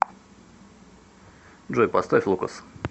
джой поставь лукас